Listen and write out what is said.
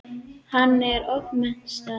Hann ofmetnaðist.